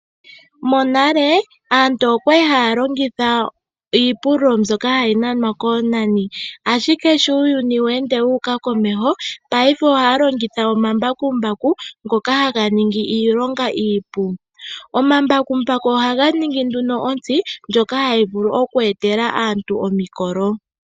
Monale aantu okwali haya longitha iipululo mbyoka hayi hilwa koonani, ashike sho uuyuni weende tawu humu komeho paife ohaya longitha omambakumbaku, ngoka ningi iilonga iipu. Go ohaga ningi ontsi ndjoka hayi vulu okweetela aantu omikolo.